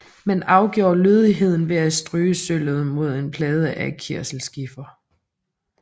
Man afgjorde lødigheden ved at stryge sølvet mod en plade af kiselskifer